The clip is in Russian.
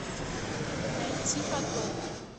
найти потоп